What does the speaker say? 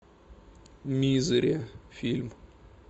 мизери фильм